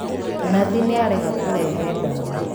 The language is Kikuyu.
Nathi nĩarega kũrehe ndawa